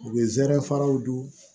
U bɛ zɛrɛ faraw dun